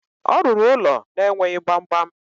Ọ rụrụ ụlọ na-enweghi gbamgbam.